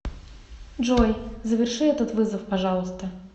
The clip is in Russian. джой заверши этот вызов пожалуйста